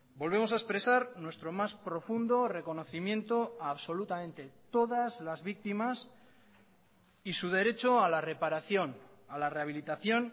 volvemos a expresar nuestro más profundo reconocimiento a absolutamente todas las víctimas y su derecho a la reparación a la rehabilitación